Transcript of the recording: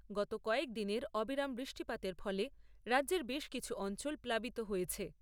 গত কয়েকদিনের অবিরাম বৃষ্টিপাতের ফলে রাজ্যের বেশ কিছু অঞ্চল প্লাবিত হয়েছে।